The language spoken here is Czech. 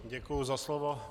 Děkuji za slovo.